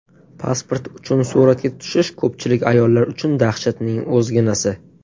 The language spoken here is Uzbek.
Pasport uchun suratga tushish ko‘pchilik ayollar uchun dahshatning o‘zginasi.